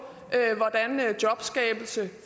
hvordan jobskabelse